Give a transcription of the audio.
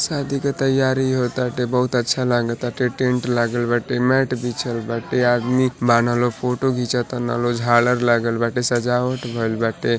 शादी के तयारी होताटे बहुत अच्छा लागता ते टेन्ट लागल बाटे मेट बिछल बाटे इ आदमी बाना लोग फोटो खिचता ना लोग झालर लागल बाटे सजावट भईल बाटे।